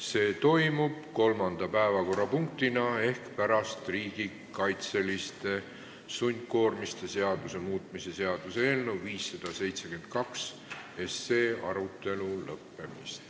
See toimub kolmanda päevakorrapunktina ehk pärast riigikaitseliste sundkoormiste seaduse muutmise seaduse eelnõu 572 arutelu lõppemist.